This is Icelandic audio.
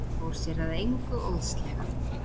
Fór sér að engu óðslega.